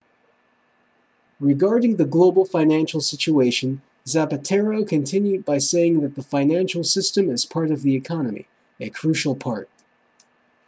regarding the global financial situation zapatero continued by saying that the financial system is a part of the economy a crucial part